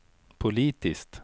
politiskt